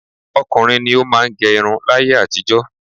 Ọkùnrin ni ó máà ń gẹ irun láyé àtijọ́.